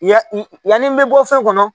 Ya i yani n bɛ bɔ fɛn kɔnɔ